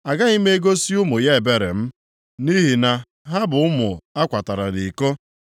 Agaghị m egosi ụmụ ya ebere m, nʼihi na ha bụ ụmụ a kwatara nʼiko.